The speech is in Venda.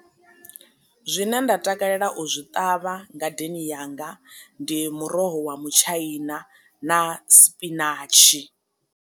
Zwine nda takalela u zwi ṱavha ngadeni yanga ndi muroho wa mutshaina na spinatshi.